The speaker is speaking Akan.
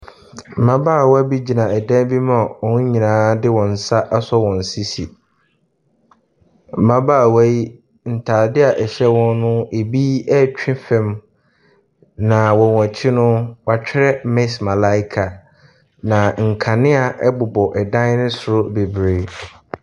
Mmabaawa bi gyina ɛdan bi mu a wɔn nyinaa de wɔn sa asɔ wɔn sisi. Mmabaawa yi ntaadeɛ a ɛhyɛ wɔn ebi ɛretwi fam na wɔ wɔn akyi no, woakyerɛ miss malaika. Na nkanea bobɔ dan no soro bebree.